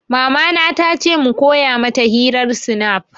Mama na ta ce mu koya mata hirar snap